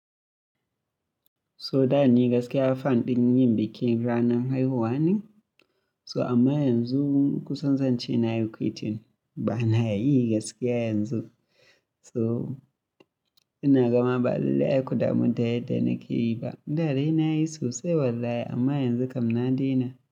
So da ni gaskiya form ɗin ABU dake zani mai huwanin. So ama yanzu kusan zance nayi quiting banayi gaskiya yanzu. So ina gama ba lallai ai ku damu da yanda nake yi ba. Da da nayi sosai wallahi amma yanzu kam na daina.